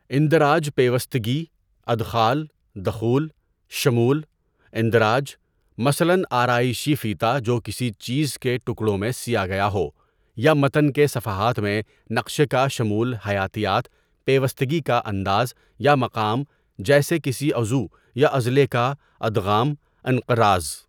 اندراج پیوستگی، ادخال، دخول، شمول، اندراج، مثلاً آرایشی فیتہ جو کسی چیز کے ٹکڑوں میں سیا گیا ہو یا متن کے صفحات میں نقشے کا شمول حیاتیات پیوستگی کا انداز یا مقام جیسے کسی عضو یا عضلے کا، ادغام، انقراز.